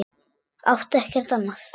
Átti ekkert annað.